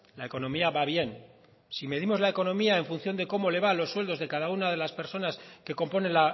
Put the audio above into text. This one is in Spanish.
la economía va bien si medimos la economía en función de cómo le van los sueldos de cada una de las personas que componen